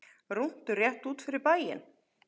Rúntur rétt út fyrir bæinn.